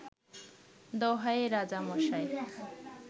দোহাই রাজামশাই